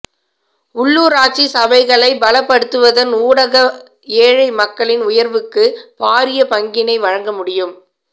உள்ளுராட்சி சபைகளை பலப்படுத்துவதன் ஊடாக ஏழை மக்களின் உயர்வுக்கு பாரிய பங்கினை வழங்க முடியும்